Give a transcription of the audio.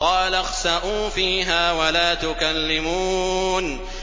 قَالَ اخْسَئُوا فِيهَا وَلَا تُكَلِّمُونِ